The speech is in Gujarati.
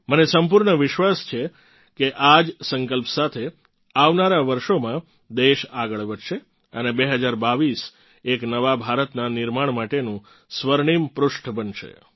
મને સંપૂર્ણ વિશ્વાસ છે કે આ જ સંકલ્પ સાથે આવનારા વર્ષોમાં દેશ આગળ વધશે અને 2022 એક નવા ભારતનાં નિર્માણ માટેનું સ્વર્ણિમ પૃષ્ઠ બનશે